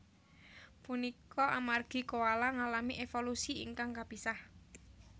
Punika amargi koala ngalami évolusi ingkang kapisah